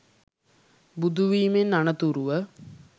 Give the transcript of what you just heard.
බුදුවීමෙන් අනතුරුව